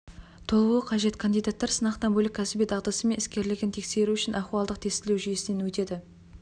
толуы қажет кандидаттар сынақтан бөлек кәсіби дағдысы мен іскерлігін тексеру үшін ахуалдық тестілеу жүйесінен өтеді